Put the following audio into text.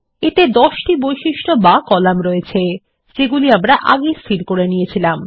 এতে ১০ টি বৈশিষ্ট বা কলাম রয়েছে যেগুলি আমরা আগেই স্থির করে নিয়েছিলাম